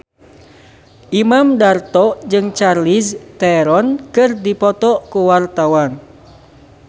Imam Darto jeung Charlize Theron keur dipoto ku wartawan